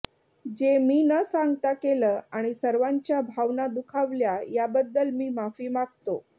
जे मी न सांगता केलं आणि सर्वांच्या भावना दुखावल्या या बद्दल मी माफी मागतो